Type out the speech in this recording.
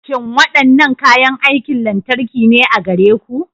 Shin waɗannan kayan aikin lantarki ne a gare ku?